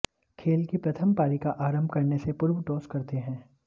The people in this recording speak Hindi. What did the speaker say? खेल की प्रथम पारी का आरम्भ करने से पूर्व टॉस करते हैं